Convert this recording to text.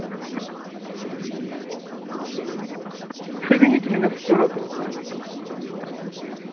соедините меня с оператором